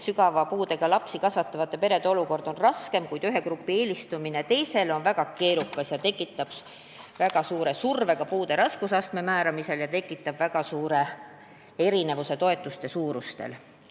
Sügava puudega lapsi kasvatavate perede olukord on raskem, kuid ühe grupi eelistamine teisele on väga keerukas, see tekitab väga suure surve puude raskusastme määramisel ja ka väga suure erinevuse toetuste suuruses.